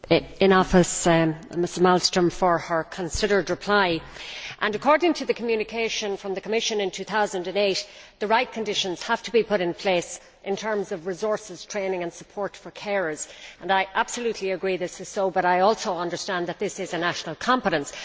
Thank you, President in Office Malmström, for your considered reply. According to the communication from the Commission in 2008, the right conditions have to be put in place in terms of resources, training and support for carers. I absolutely agree that this is so, and I also understand that this is a national competence.